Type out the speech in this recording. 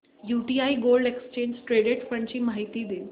UTI gold exchange traded fund ची माहिती दे